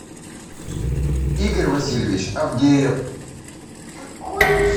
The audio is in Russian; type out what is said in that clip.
игорь васильевич авдеев